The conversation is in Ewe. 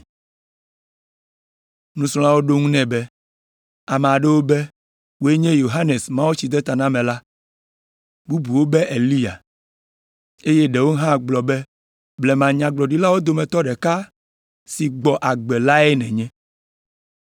Nusrɔ̃lawo ɖo eŋu nɛ be, “Ame aɖewo be wòe nye Yohanes Mawutsidenatamela la, bubuwo be Eliya, eye ɖewo hã gblɔ be blema Nyagblɔɖilawo dometɔ ɖeka si gbɔ agbe lae nènye.”